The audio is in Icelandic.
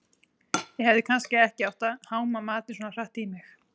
Ég hefði kannski ekki átt að háma matinn svona hratt í mig